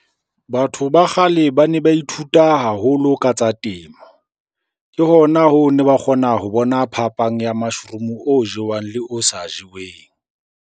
Batho ba kgale ba ne ba ithuta haholo ka tsa temo. Ke hona hoo ne ba kgona ho bona phapang ya mushroom-o o jewang le o sa jeweng.